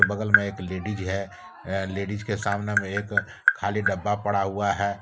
बगल में एक लडिज है। अह लेडीज के सामने में एक खाली डब्बा पड़ा हुआ है।